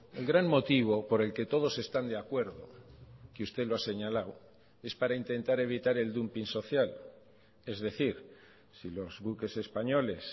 el gran motivo por el que todos están de acuerdo que usted lo ha señalado es para intentar evitar el dumping social es decir si los buques españoles